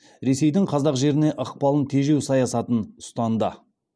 ресейдің қазақ жеріне ықпалын тежеу саясатын ұстанды